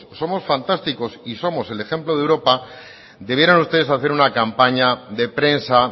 somos fantásticos y somos el ejemplo de europa debieran ustedes de hacer una campaña de prensa